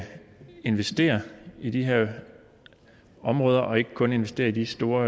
investere i de her områder og ikke kun investere i de store